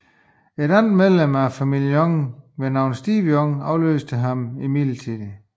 Et andet medlem af familien Young ved navn Stevie Young afløste ham midlertidigt